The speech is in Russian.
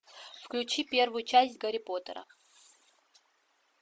включи первую часть гарри поттера